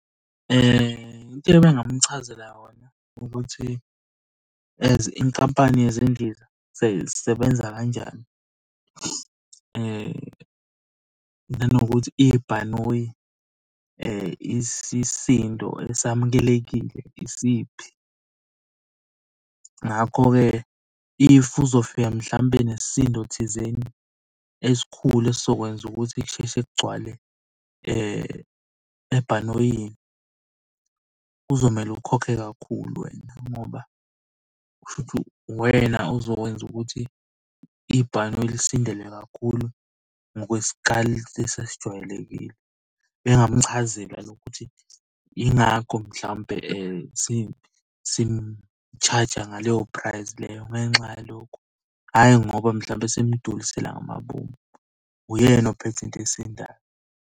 Into ebengingamuchazela yona ukuthi as inkampani yezindiza seyisebenza kanjani. Nanokuthi ibhanoyi isisindo esamukelekile isiphi. Ngakho-ke if uzofika mhlampe nesisindo thizeni esikhulu esizokwenza ukuthi kusheshe kugcwale ebhanoyini, kuzomele ukhokhe kakhulu wena ngoba kushuthi uwena ozokwenza ukuthi ibhanoyi lisindelwe kakhulu ngokwesikali lesi esijwayelekile. Bengingamchazela nokuthi yingakho mhlawumpe sishaja ngaleyo price leyo ngenxa yalokhu. Hhayi ngoba mhlawumbe simulisela ngamabomu, uyena ophethe into esindayo.